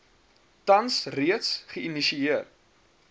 tans reeds geihisieer